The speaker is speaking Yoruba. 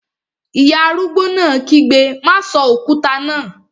Ìyá arúgbó náà kígbe, "má sọ òkúta náà!"